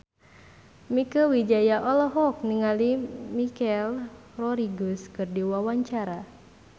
Mieke Wijaya olohok ningali Michelle Rodriguez keur diwawancara